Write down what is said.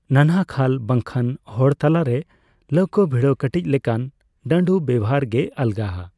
ᱱᱟᱱᱦᱟ ᱠᱷᱟᱞ ᱵᱟᱝᱠᱷᱟᱱ ᱦᱚᱲᱛᱟᱞᱟᱨᱮ ᱞᱟᱹᱣᱠᱟᱹ ᱵᱷᱤᱲᱟᱹᱣ ᱠᱟᱹᱴᱤᱡ ᱞᱮᱠᱟᱱ ᱰᱟᱸᱰᱩ ᱵᱮᱣᱦᱟᱨ ᱜᱮ ᱟᱞᱜᱟᱼᱟ ᱾